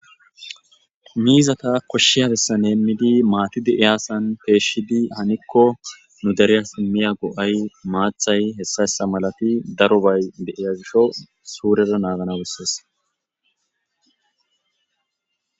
Mizata kushiya besan hemidi mati de'iyasan peshidi haniko nu deriyas imiya go'ay maathay heysa heysa malati darobay de'iya gishaw suren naganaw beses.